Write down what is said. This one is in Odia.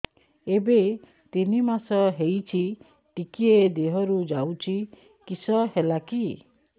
ଏବେ ତିନ୍ ମାସ ହେଇଛି ଟିକିଏ ଦିହରୁ ଯାଉଛି କିଶ ହେଲାକି